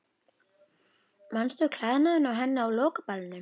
Manstu klæðnaðinn á henni á lokaballinu?